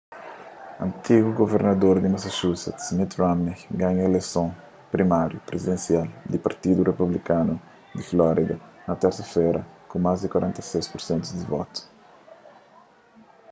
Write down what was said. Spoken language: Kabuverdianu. antigu guvernador di massachusetts mitt romney ganha ileison primáriu prizidensial di partidu republikanu di florida na térsa-fera ku más di 46 pur sentu di votus